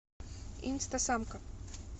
инстасамка